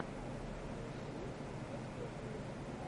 поищи перпетуум